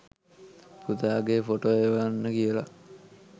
පුතාගේ photo එවන්න කියලා.